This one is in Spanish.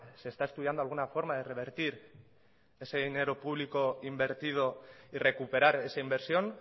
se está estudiando alguna forma de revertir ese dinero público invertido y recuperar esa inversión